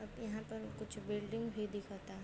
Up यहाँ पर कुछ बिल्डिंग भी दिखता।